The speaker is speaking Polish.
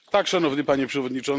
Panie Przewodniczący!